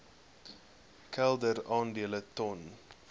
kelder aandele ton